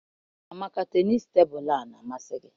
Amaka tenisii tebụl a na-amasi gi?